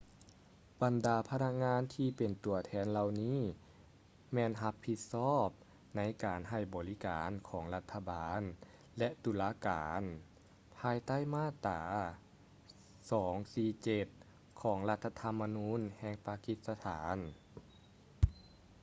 ບັນດາພະນັກງານທີ່ເປັນຕົວແທນເຫຼົ່ານີ້ ແມ່ນຮັບຜິດຊອບໃນການໃຫ້ບໍລິການຂອງ ລັດຖະບານ ແລະ ຕຸລາການ ພາຍໃຕ້ມາດຕາ 247 ຂອງລັດຖະທຳມະນູນແຫ່ງປາກິດສະຖານ